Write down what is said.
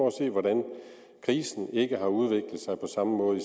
at se hvordan krisen ikke har udviklet sig på samme måde